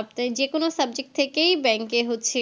আপনি যে কোনো subject থেকেই bank এ হচ্ছে